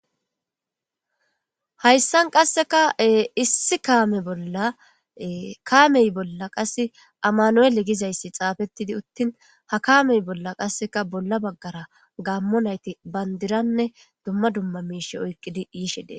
Hayissani qasseka issi kame bolla, kameyi bolla qassi amanuyeli gidayisi xafeti uttini ha bolla bolara gamo nayiti bandira oyikidi yishe dessi.